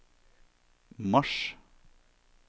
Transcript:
mars